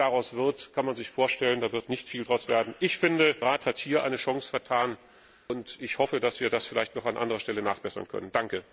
Was daraus wird, kann man sich vorstellen. Daraus wird nicht viel werden. Der Rat hat hier eine Chance vertan, und ich hoffe, dass wir das vielleicht noch an anderer Stelle nachbessern können.